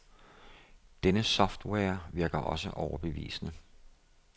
Denne software virker også overbevisende.